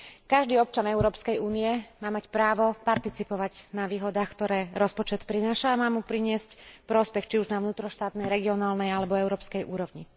Každý občan Európskej únie má mať právo participovať na výhodách, ktoré rozpočet prináša, a má mu priniesť prospech, či už na vnútroštátnej, regionálnej alebo európskej úrovni.